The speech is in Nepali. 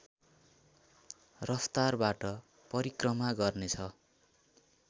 रफ्तारबाट परिक्रमा गर्नेछ